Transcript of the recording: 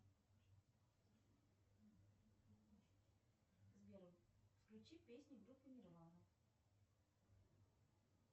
сбер включи песни группы нирвана